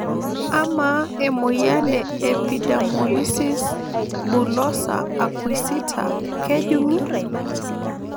Amaa emoyian e epidermolysis bullosa acquisita kejungi?